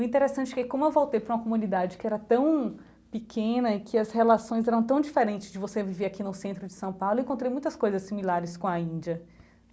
O interessante é que como eu voltei para uma comunidade que era tão pequena e que as relações eram tão diferentes de você viver aqui no centro de São Paulo, eu encontrei muitas coisas similares com a Índia.